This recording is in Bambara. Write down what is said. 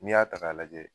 N'i y'a ta k'a lajɛ